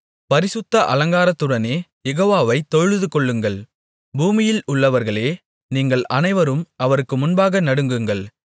பரிசுத்த அலங்காரத்துடனே யெகோவாவை தொழுதுகொள்ளுங்கள் பூமியில் உள்ளவர்களே நீங்கள் அனைவரும் அவருக்கு முன்பாக நடுங்குங்கள்